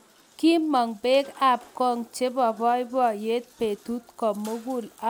kimong' beek ap kong chebo boiboiyeet betuut komugul anga geer.